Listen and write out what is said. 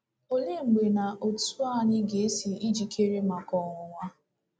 Olee mgbe na otu anyị ga-esi ejikere maka ọnwụnwa?